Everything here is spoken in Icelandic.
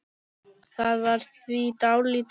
Það var því dálítið glatað.